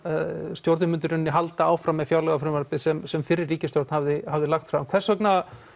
stjórnin myndi í raun halda áfram með fjárlagafrumvarpið sem sem fyrri ríkisstjórn hafði hafði lagt fram hvers vegna